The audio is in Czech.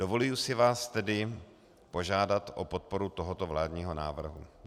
Dovoluji si vás tedy požádat o podporu tohoto vládního návrhu.